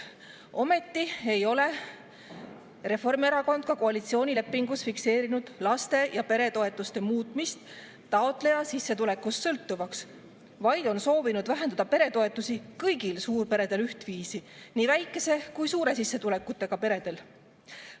Ometi ei ole Reformierakond ka koalitsioonilepingus fikseerinud laste- ja peretoetuste muutmist taotleja sissetulekust sõltuvaks, vaid on soovinud vähendada peretoetusi ühtviisi kõigil suurperedel, nii väikese kui ka suure sissetulekuga peredel.